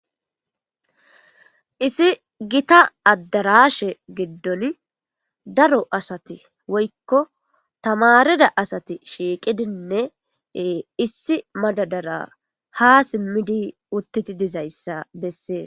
Issi gita addarashe giddon daro asati woykko tamarida asati shiiqidinne issi madadara ha simmidi utteti dizayssa bessee.